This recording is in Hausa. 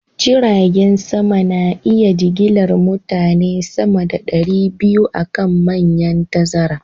Jiragen sama na iya jigilar mutane sama da ɗari biyu a kan manyan tazara